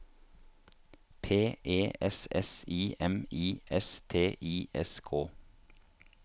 P E S S I M I S T I S K